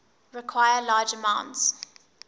require large amounts